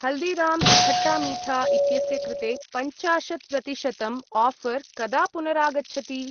हल्दिराम्स् खट्टा मीठा इत्यस्य कृते पञ्चाशत् प्रतिशतं आफर् कदा पुनरागच्छति?